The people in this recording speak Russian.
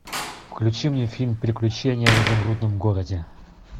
включи мне фильм приключения в изумрудном городе